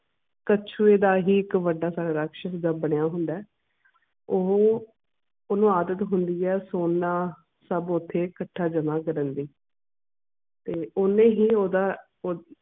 ਕੱਛੂ ਦਾ ਹੀ ਇੱਕ ਵੱਡਾ ਸਾਰਾ ਰਾਕਸ਼ਸ ਦਾ ਹੁੰਦਾ ਆ ਓਹੋ ਓਹਨੂੰ ਆਦਤ ਹੁੰਦੀ ਆ ਸੋਨਾ ਸਬ ਓਥੇ ਕੱਠਾ ਜਮਾਂ ਕਰਨ ਦੀ ਤੇ ਓਹਨੇ ਹੀ ਓਹਦਾ ਉਹ